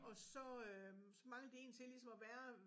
Og så øh så manglede de en til ligesom at være